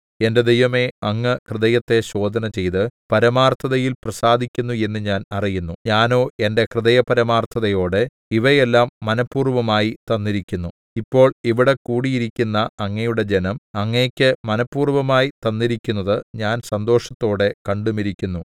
എന്റെ ദൈവമേ അങ്ങ് ഹൃദയത്തെ ശോധനചെയ്ത് പരമാർത്ഥതയിൽ പ്രസാദിക്കുന്നു എന്നു ഞാൻ അറിയുന്നു ഞാനോ എന്റെ ഹൃദയപരമാർത്ഥതയോടെ ഇവയെല്ലാം മനഃപൂർവ്വമായി തന്നിരിക്കുന്നു ഇപ്പോൾ ഇവിടെ കൂടിയിരിക്കുന്ന അങ്ങയുടെ ജനം അങ്ങയ്ക്ക് മനഃപൂർവ്വമായി തന്നിരിക്കുന്നത് ഞാൻ സന്തോഷത്തോടെ കണ്ടുമിരിക്കുന്നു